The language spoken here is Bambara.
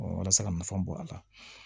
walasa ka nafa bɔ a la